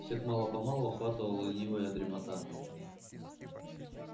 всех мало-помалу охватывала ленивая дремота